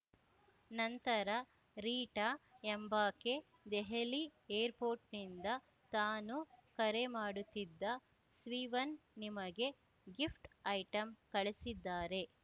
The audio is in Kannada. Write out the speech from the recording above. ನಂತರ ರೀಟಾ ಎಂಬಾಕೆ ದೆಹಲಿ ಏರ್‌ ಪೋಟ್‌ರ್‍ನಿಂದ ತಾನು ಕರೆ ಮಾಡುತ್ತಿದ್ದ ಸ್ವೀವನ್‌ ನಿಮಗೆ ಗಿಫ್ಟ್‌ ಐಟಂ ಕಳಿಸಿದ್ದಾರೆ